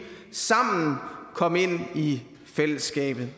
sammen kom ind i fællesskabet